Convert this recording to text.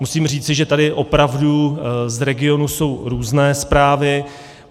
Musím říci, že tady opravdu z regionů jsou různé zprávy.